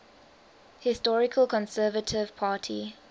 historical conservative party